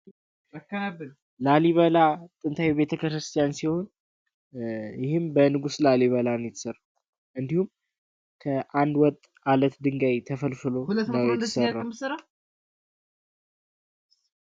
ላሊበላ ጥንታዊ ቤተክርስቲያን ሲሆን ይህም በንጉስ ላሊበላ ነው የተሰራው። እንዲሁም ከአንድ ወጥ አለት ድንጋይ ተፈልፍሎ ላይ ነው የተሰራ።